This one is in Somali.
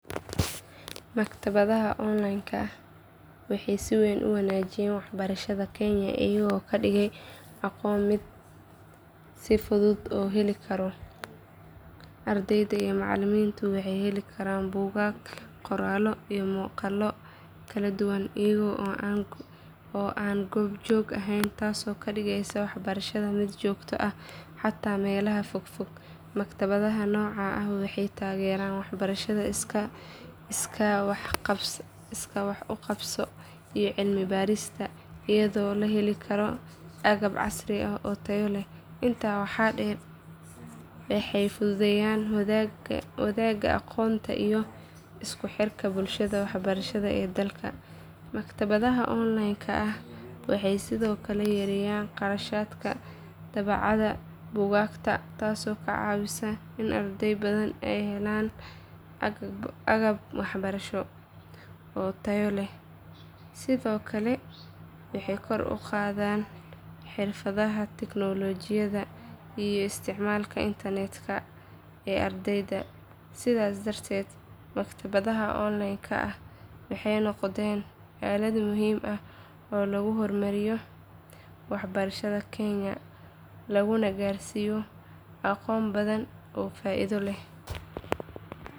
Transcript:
Maktabadaha online-ka ah waxay si weyn u wanaajiyeen waxbarashada kenya iyagoo ka dhigay aqoonta mid si fudud loo heli karo. Ardayda iyo macallimiinta waxay heli karaan buugaag, qoraallo iyo maqaallo kala duwan iyaga oo aan goob joog ahayn taasoo ka dhigaysa waxbarashada mid joogto ah xitaa meelaha fogfog. Maktabadaha noocan ah waxay taageeraan waxbarashada iskaa wax u qabso iyo cilmi baarista iyadoo la heli karo agab casri ah oo tayo leh. Intaa waxaa dheer waxay fududeeyaan wadaaga aqoonta iyo isku xirka bulshada waxbarashada ee dalka. Maktabadaha online-ka ah waxay sidoo kale yareeyaan kharashka daabacaadda buugaagta taasoo ka caawisa in arday badan ay helaan agab waxbarasho oo tayo leh. Sidoo kale waxay kor u qaadaan xirfadaha tiknoolajiyada iyo isticmaalka internetka ee ardayda. Sidaas darteed maktabadaha online-ka ah waxay noqdeen aalad muhiim ah oo lagu hormariyo waxbarashada kenya laguna gaarsiiyo aqoon badan oo faa’iido leh.